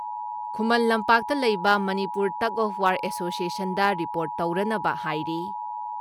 ꯈꯨꯃꯟ ꯂꯝꯄꯥꯛꯇ ꯂꯩꯕ Manipur tug of war ꯑꯦꯁꯣꯁꯤꯌꯦꯁꯟꯗ ꯔꯤꯄꯣꯔꯠ ꯇꯧꯔꯅꯕ ꯍꯥꯏꯔꯤ ꯫